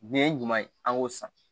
Nin ye ɲuman ye an k'o san